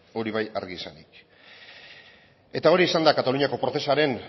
hori bai argi esanik eta hori izan da kataluniako procesaren